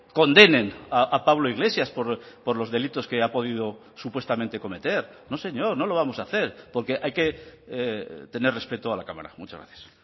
condenen a pablo iglesias por los delitos que ha podido supuestamente cometer no señor no lo vamos a hacer porque hay que tener respeto a la cámara muchas gracias